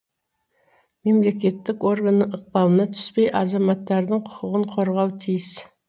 мемлекеттік органның ықпалына түспей азаматтардың құқығын қорғауы тиіс